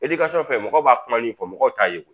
fɛn fɛn mɔgɔw b'a kuma min fɔ mɔgɔw t'a ye ko